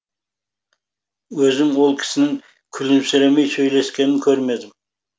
өзім ол кісінің күлімсіремей сөйлескенін көрмедім